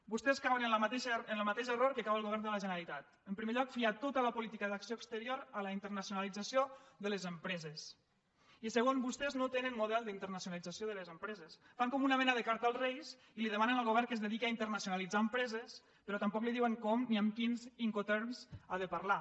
vostès cauen en el mateix error en què cau el govern de la generalitat en primer lloc fiar tota la política d’acció exterior a la internacionalització de les empreses i segon vostès no tenen model d’internacionalització de les empreses fan com una mena de carta als reis i li demanen al govern que es dediqui a internacionalitzar empreses però tampoc li diuen com ni amb quins incoterms ha de parlar